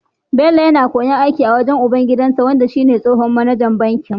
Bello yAna koyon aikin banki a wurin ubangidansa wanda shi ne tsohon mAnajan bankin